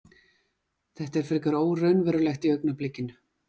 Þetta er frekar óraunverulegt í augnablikinu.